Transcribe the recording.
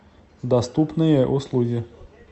доступные услуги